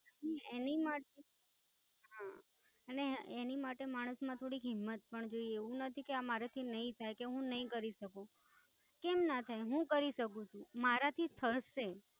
એની માટે, હા એની માટે માણસ માં થોડીક હિમ્મત હોવી જોઈએ, એવું નથી કે આ મરાઠી નાઈ થઇ કે હું નાઈ કરી શકું, કેમ ના થઇ? હું કરી શકું છું. મરા થી થશે.